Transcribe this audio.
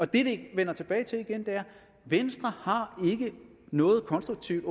det vender tilbage til igen er at venstre åbenbart har noget konstruktivt